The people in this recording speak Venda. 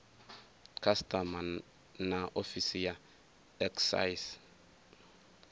customs na ofisi ya excise